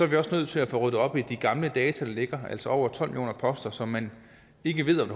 vi også nødt til at få ryddet op i de gamle data der ligger altså over tolv millioner poster som man ikke ved om